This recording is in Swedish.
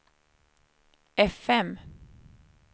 fm